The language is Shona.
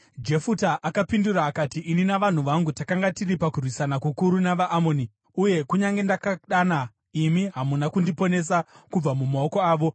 Jefuta akapindura akati, “Ini navanhu vangu takanga tiri pakurwisana kukuru navaAmoni, uye kunyange ndakadana, imi hamuna kundiponesa kubva mumaoko avo.